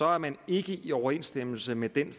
er man ikke i overensstemmelse med den